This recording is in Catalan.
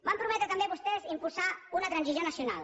van prometre també vostès impulsar una transició nacional